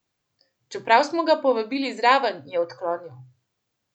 Čeprav smo ga povabili zraven, je odklonil.